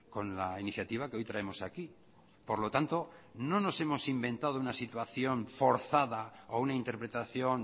con la iniciativa que hoy traemos aquí por lo tanto no nos hemos inventado una situación forzada o una interpretación